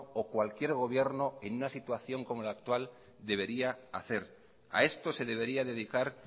o cualquier gobierno en una situación como la actual debería hacer a esto se debería dedicar